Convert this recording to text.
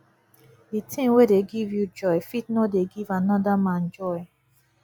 di thing wey dey give you joy fit no dey give anoda man joy